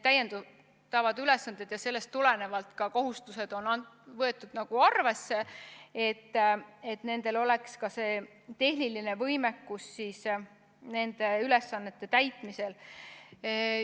Sellest tulenevalt on arvesse võetud ka kohustusi, et Tarbijakaitse ja Tehnilise Järelevalve Ametil oleks tehniline võimekus ülesandeid täita.